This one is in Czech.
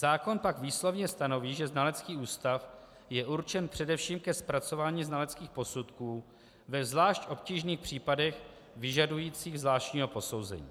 Zákon pak výslovně stanoví, že znalecký ústav je určen především ke zpracování znaleckých posudků ve zvláště obtížných případech vyžadujících zvláštního posouzení.